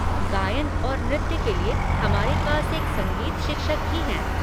गायन और नृत्य के लिए, हमारे पास एक संगीत शिक्षक भी हैं।